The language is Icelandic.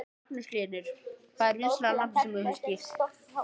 Magnús Hlynur: Hvað er vinsælasta nafnið sem þú skírt?